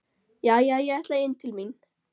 Jæja, ég ætla inn til mín.